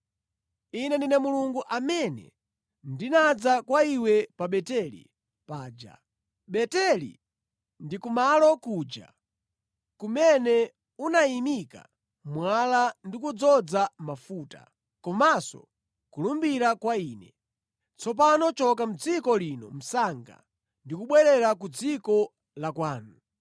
Ine ndine Mulungu amene ndinadza kwa iwe pa Beteli paja. Beteli ndi kumalo kuja kumene unayimika mwala ndi kuwudzoza mafuta, komanso kulumbira kwa Ine. Tsopano choka mʼdziko lino msanga ndi kubwerera ku dziko la kwanu.’ ”